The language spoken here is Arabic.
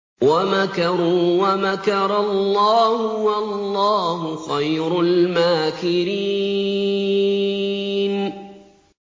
وَمَكَرُوا وَمَكَرَ اللَّهُ ۖ وَاللَّهُ خَيْرُ الْمَاكِرِينَ